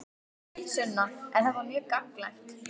Sunna: Er þetta mjög gagnlegt?